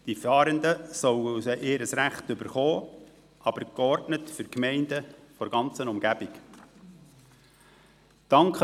Die Fahrenden sollen ihr Recht erhalten, aber dies soll für die Gemeinden der ganzen Umgebung geordnet geschehen.